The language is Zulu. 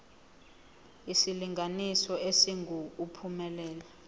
isilinganiso esingu uphumelele